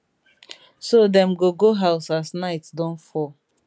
so dem go go house as night don fall